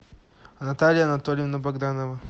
наталья анатольевна богданова